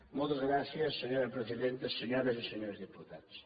moltes gràcies senyora presidenta senyores i senyors diputats